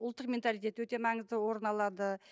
ұлттық менталитет өте маңызды орын алады